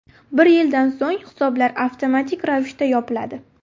Bir yildan so‘ng hisoblar avtomatik ravishda yopiladi.